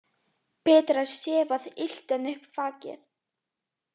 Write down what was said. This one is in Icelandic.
Betra er sefað illt en upp vakið.